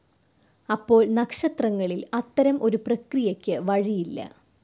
അപ്പോൾ‍ നക്ഷത്രങ്ങളിൽ അത്തരം ഒരു പ്രക്രിയക്ക് വഴിയില്ല.